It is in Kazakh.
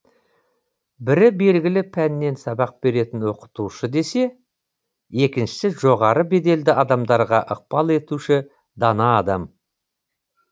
бірі белгілі пәннен сабақ беретін оқытушы десе екіншісі жоғары беделді адамдарға ықпал етуші дана адам